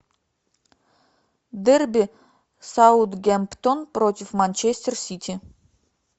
дерби саутгемптон против манчестер сити